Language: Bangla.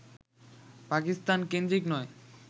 পাকিস্তান-কেন্দ্রিক নয়